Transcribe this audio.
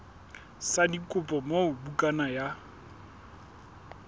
sa dikopo moo bukana ya